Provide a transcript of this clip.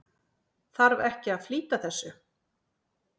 Þarf ekki að flýta þessu?